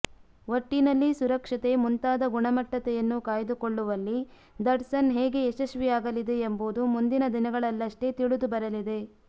ಒಟ್ಟಿನಲ್ಲಿ ಸುರಕ್ಷತೆ ಮುಂತಾದ ಗುಣಮಟ್ಟತೆಯನ್ನು ಕಾಯ್ದುಕೊಳ್ಳುವಲ್ಲಿ ದಟ್ಸನ್ ಹೇಗೆ ಯಶಸ್ವಿಯಾಗಲಿದೆ ಎಂಬುದು ಮುಂದಿನ ದಿನಗಳಲ್ಲಷ್ಟೇ ತಿಳಿದು ಬರಲಿದೆ